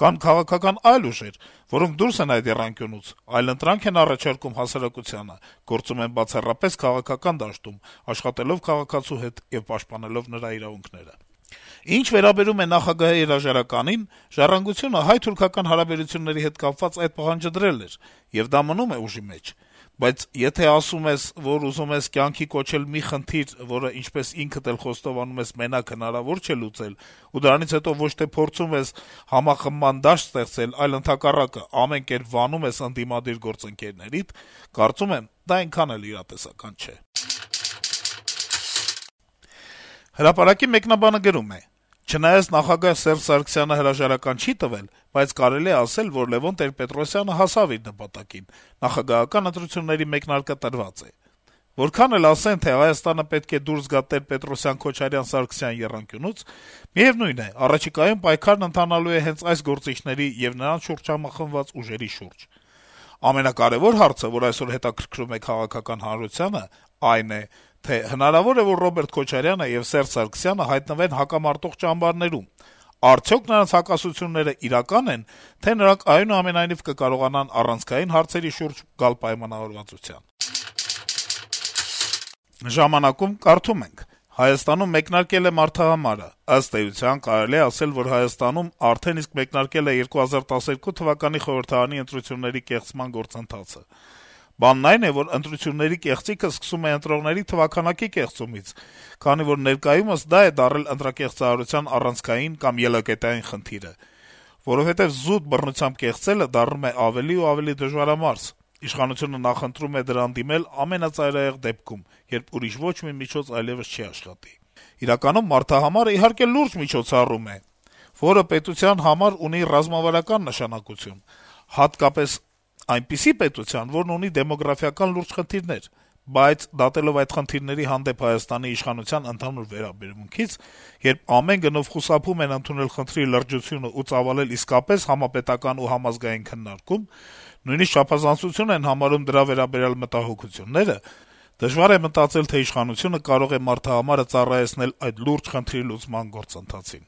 կան քաղաքական այլ ուժեր, որոնք դուրս են այդ եռանկյունուց, այլընտրանք են առաջարկում հասարակությանը, գործում են բացառապես քաղաքական դաշտում` աշխատելով քաղաքացու հետ եւ պաշտպանելով նրա իրավունքները… Ինչ վերաբերում է նախագահի հրաժարականին, «Ժառանգությունը» հայ-թուրքական հարաբերությունների հետ կապված` այդ պահանջը դրել էր, եւ դա մնում է ուժի մեջ։ Բայց եթե ասում ես, որ ուզում ես կյանքի կոչել մի խնդիր, որ, ինչպես ինքդ էլ խոստովանում ես, մենակ հնարավոր չէ լուծել, ու դրանից հետո ոչ թե փորձում ես համախմբման դաշտ ստեղծել, այլ, հակառակը, ամեն կերպ վանում ես ընդդիմադիր գործընկերներին, կարծում եմ, դա այնքան էլ իրատեսական չէ»։ «Հրապարակ»-ի մեկնաբանը գրում է. - «Չնայած նախագահ Սերժ Սարգսյանը հրաժարական չի տվել, բայց կարելի է ասել, որ Լեւոն Տեր-Պետրոսյանը հասավ իր նպատակին. նախագահական ընտրությունների մեկնարկը տրված է: Որքան էլ ասեն, թե Հայաստանը պետք է դուրս գա Տեր-Պետրոսյան-Քոչարյան-Սարգսյան եռանկյունուց, միեւնույն է՝ առաջիկայում պայքարն ընթանալու է հենց այս գործիչների եւ նրանց շուրջ համախմբված ուժերի շուրջ: Ամենակարեւոր հարցը, որ այսօր հետաքրքրում է քաղաքականացված հանրությանը, այն է, թե արդյոք հնարավո՞ր է, որ Ռոբերտ Քոչարյանը եւ Սերժ Սարգսյանը հայտնվեն հակամարտող ճամբարներում, արդյո՞ք նրանց հակասություններն իրական են, թե՞ նրանք այնուամենայնիվ կկարողանան առանցքային հարցերի շուրջ գալ պայմանավորվածության»: «Ժամանակ»-ում կարդում ենք. - «Հայաստանում մեկնարկել է մարդահամարը: Ըստ էության, կարելի է ասել, որ Հայաստանում արդեն իսկ մեկնարկել է 2012 թվականի խորհրդարանի ընտրությունների կեղծման գործընթացը: Բանն այն է, որ ընտրությունների կեղծիքը սկսվում է ընտրողների թվաքանակի կեղծումից, քանի որ ներկայումս դա է դարձել ընտրակեղծարարության առանցքային կամ ելակետային խնդիրը: Որովհետեւ զուտ բռնությամբ կեղծելը դառնում է ավելի ու ավելի դժվարամարս, իշխանությունը նախընտրում է դրան դիմել ամենածայրահեղ դեպքում, երբ ուրիշ ոչ մի միջոց այլեւս չի աշխատի: Իրականում մարդահամարը, իհարկե, լուրջ միջոցառում է, որը պետության համար ունի ռազմավարական նշանակություն, հատկապես այնպիսի պետության, որն ունի դեմոգրաֆիական լուրջ խնդիրներ: Բայց, դատելով այդ խնդիրների հանդեպ Հայաստանի իշխանության ընդհանուր վերաբերմունքից, երբ ամեն գնով խուսափում են ընդունել խնդրի լրջությունն ու ծավալել իսկապես համապետական եւ համազգային քննարկում, նույնիսկ չափազանցություն են համարում դրա վերաբերյալ մտահոգությունները, դժվար է մտածել, թե իշխանությունը մարդահամարը կարող է ծառայեցնել այդ լուրջ խնդրի լուծման գործընթացին»: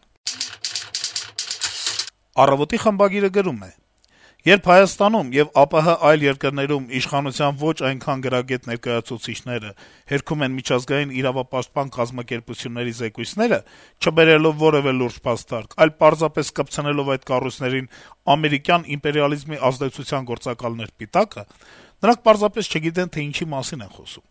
«Առավոտ»-ի խմբագիրը գրում է. - «Երբ Հայաստանում եւ ԱՊՀ այլ երկրներում իշխանության ոչ այնքան գրագետ ներկայացուցիչները «հերքում են» միջազգային իրավապաշտպան կազմակերպությունների զեկույցները` չբերելով որեւէ լուրջ փաստարկ, այլ պարզապես կպցնելով այդ կառույցներին «ամերիկյան իմպերիալիզմի ազդեցության գործակալներ» պիտակը, նրանք պարզապես չգիտեն, թե ինչի մասին են խոսում: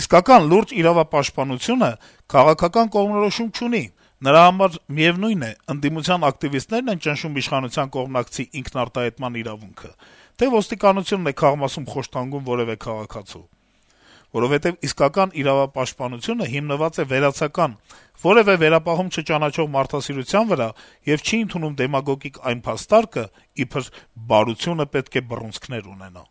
Իսկական, լուրջ իրավապաշտպանությունը քաղաքական կողմնորոշում չունի, նրա համար միեւնույն է` ընդդիմության ակտիվիստնե՞րն են ճնշում իշխանության կողմնակցի ինքնարտահայտման իրավունքը, թե՞ ոստիկանությունն է քաղմասում խոշտանգում որեւէ քաղաքացու… Որովհետեւ իսկական իրավապաշտպանությունը հիմնված է վերացական, որեւէ վերապահում չճանաչող մարդասիրության վրա եւ չի ընդունում դեմագոգիկ այն փաստարկը` իբր «բարությունը պետք է բռունցքներ ունենա»: